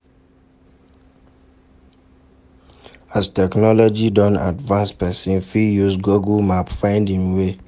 As technology done advance persin fit use google map find in way